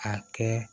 A kɛ